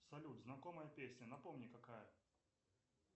салют знакомая песня напомни какая